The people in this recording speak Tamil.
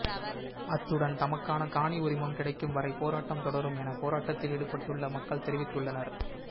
அத்துடன் தமக்கான காணி உரிமம் கிடைக்கும் வரை போராட்டம் தொடரம் என போராட்டத்தில் ஈடுபட்டுள்ள மக்கள் தெரிவித்துள்ளனர்